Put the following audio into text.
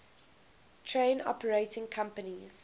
train operating companies